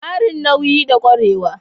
Ƙarin nauyi da ƙwarewa.